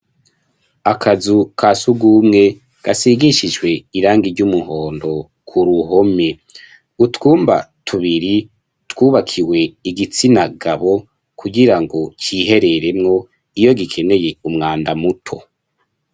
Akazu kasugumwe gisigishijwe irangi ry'umuhondo k'uruhome, utwumba tubiri twubakiwe igitsina gabo, kugirango cihereremwo iyo gikeneye umwanda muto.